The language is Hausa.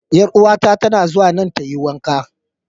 Yar'uwar ta tana zuwa nan ta yi wanka.